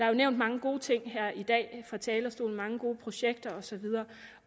jo nævnt mange gode ting her i dag fra talerstolen mange gode projekter osv